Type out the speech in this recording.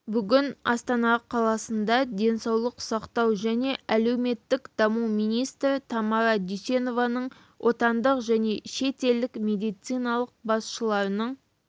бүгін астана қаласында денсаулық сақтау және әлеуметтік даму министрі тамара дүйсенованың отандық және шетелдік медициналық басшыларының